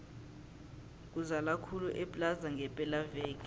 kuzala khulu eplaza ngepela veke